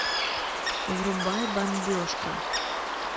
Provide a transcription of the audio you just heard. врубай бомбежка